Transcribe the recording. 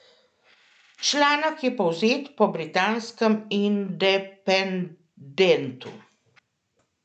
Članek je povzet po britanskem Independentu.